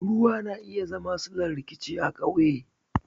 Ruwa na iya zama sillar rikici a ƙauye